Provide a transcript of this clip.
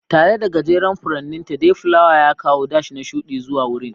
Tare da gajeren furanninta, dayflower ya kawo dash na shuɗi zuwa wurin.